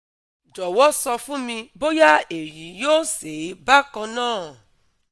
jowo sọ fún mi bóyá èyí yóò sè é bákan náà